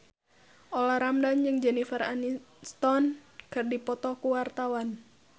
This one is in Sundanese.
Olla Ramlan jeung Jennifer Aniston keur dipoto ku wartawan